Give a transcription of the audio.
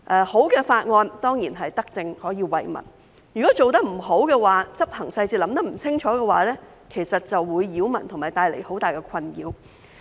好的法案當然是德政，可以惠民，但如果做得不好，在執行細節上考慮得不清楚的話，就會擾民和帶來很大困擾。